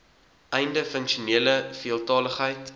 einde funksionele veeltaligheid